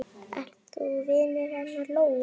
Ert þú vinur hennar Lóu?